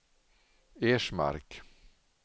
Ersmark